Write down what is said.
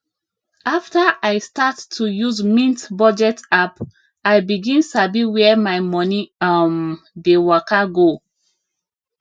after i start to use mint budget app i begin sabi where my money um dey waka go